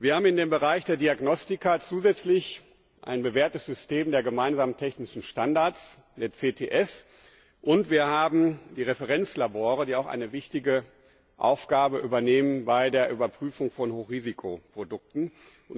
Wir haben im Bereich der Diagnostika zusätzlich ein bewährtes System der gemeinsamen technischen Standards, der CTS, und wir haben die Referenzlabore, die auch eine wichtige Aufgabe bei der Überprüfung von Hochrisikoprodukten übernehmen.